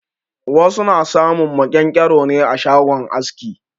Wasu na samun maƙyan-ƙyaro ne a shagon aski.